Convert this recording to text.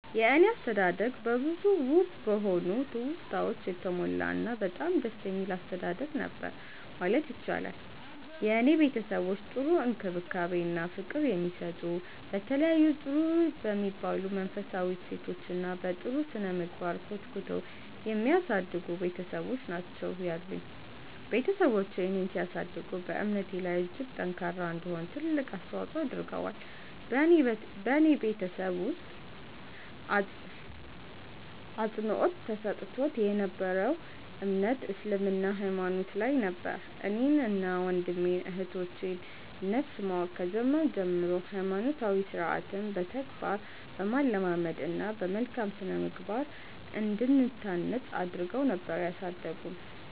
የኔ አስተዳደግ በብዙ ውብ በሆኑ ትውስታወች የተሞላ እና በጣም ደስ የሚል አስተዳደግ ነበር ማለት ይቻላል። የኔ ቤተሰቦች ጥሩ እንክብካቤ እና ፍቅር የሚሰጡ፤ በተለያዩ ጥሩ በሚባሉ መንፈሳዊ እሴቶች እና በ ጥሩ ስነምግባር ኮትኩተው የሚያሳድጉ ቤትሰቦች ናቸው ያሉኝ። ቤትሰቦቼ እኔን ሲያሳድጉ በእምነቴ ላይ እጅግ ጠንካራ እንድሆን ትልቅ አስተዋፆ አድርገዋል። በኔ ቤተሰብ ውስጥ አፅንዖት ተሰጥቶት የ ነበረው እምነት እስልምና ሃይማኖት ላይ ነበር። እኔን እና ወንድም እህቶቼ ን ነፍስ ማወቅ ከጀመርን ጀምሮ ሃይማኖታዊ ስርዓትን በተግባር በማለማመድ እና በመልካም ስነምግባር እንድንታነፅ አድረገው ነበር ያሳደጉን።